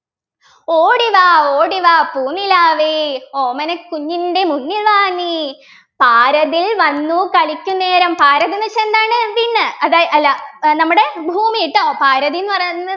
ഓടിവാ ഓടിവാ പൂനിലാവേ ഓമനക്കുഞ്ഞിൻ്റെ മുന്നിൽ വാ നീ പാരതിൽ വന്നു കളിക്കുന്നേരം പാരതിൽ ന്നു വെച്ചാ എന്താണ് വിണ്ണ് അതാ അല്ല ഏർ നമ്മുടെ ഭൂമി ട്ടോ പാരതിൽ ന്നു പറയുന്നത്